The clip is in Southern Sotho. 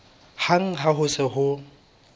hang ha ho se ho